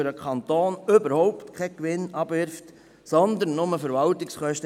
Das wirft für den Kanton überhaupt keinen Gewinn ab, sondern generiert lediglich Verwaltungskosten.